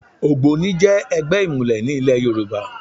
ÒgbónI jẹ́ ẹgbẹ́ ìmùlẹ̀ ní ìlẹ̀ Yorùbá